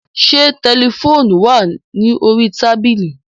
Ṣé tẹlifóonù wà ní orí tábílì?